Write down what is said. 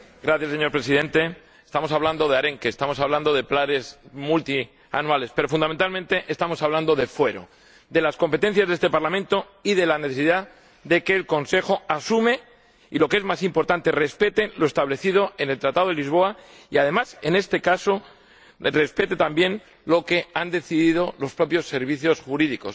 Señor Presidente, estamos hablando de arenques, estamos hablando de planes multianuales pero, fundamentalmente, estamos hablando de fuero, de las competencias de este Parlamento y de la necesidad de que el Consejo asuma y —lo que es más importante— respete lo establecido en el Tratado de Lisboa y, además, respete también lo que han decidido los propios servicios jurídicos.